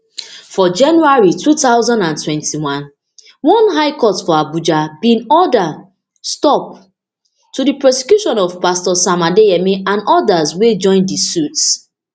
for january two thousand and twenty-one one high court for abuja bin order stop to di prosecution of pastor sam adeyemi and odas wey join dey di suit